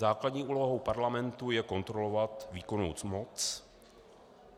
Základní úlohou parlamentu je kontrolovat výkonnou moc.